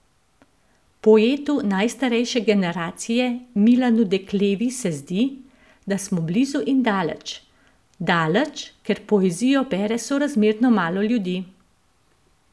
Poetu najstarejše generacije Milanu Deklevi se zdi, da smo blizu in daleč: "Daleč, ker poezijo bere sorazmerno malo ljudi.